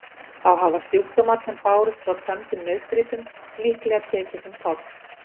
Þá hafa sjúkdómar sem bárust frá tömdum nautgripum líklega tekið sinn toll.